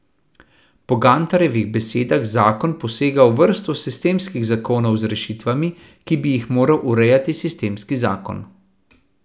Po Gantarjevih besedah zakon posega v vrsto sistemskih zakonov z rešitvami, ki bi jih moral urejati sistemski zakon.